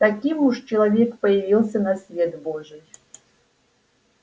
таким уж человек появился на свет божий